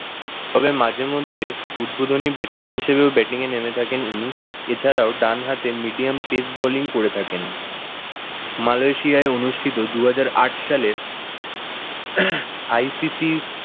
তবে মাঝেমধ্যে উদ্বোধনী batsman হিসেবেও batting এ নেমে থাকে উনি। এছাড়াও ডানহাতে medium pace bowling করে থাকেন। মালেশিয়ায় অনুষ্ঠিত দুহাজার আট সালে ICC